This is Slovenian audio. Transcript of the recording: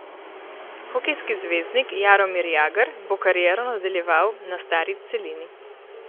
Hokejski zvezdnik Jaromir Jagr bo kariero nadaljeval na stari celini.